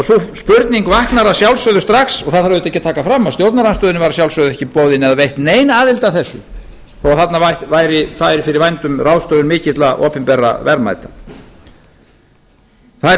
spurning vaknar að sjálfsögðu strax það þarf auðvitað ekki að taka fram að stjórnarandstöðunni var að sjálfsögðu ekki boðin eða veitt nein aðild að þessu þó þarna væri staðið fyrir vændum ráðstöfun mikilla opinberra verðmæta það er